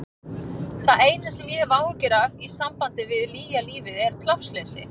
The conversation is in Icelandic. Það eina sem ég hef áhyggjur af í sambandi við nýja lífið er plássleysi.